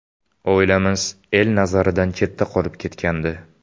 Oilamiz el nazaridan chetda qolib ketgandi.